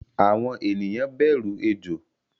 Àwọn ènìyàn bẹru Ejò